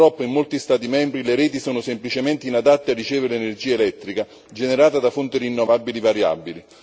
Purtroppo in molti Stati membri le reti sono semplicemente inadatte a ricevere energia elettrica generata da fonti rinnovabili variabili.